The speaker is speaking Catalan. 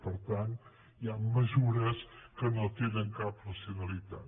per tant hi han mesures que no tenen cap racionalitat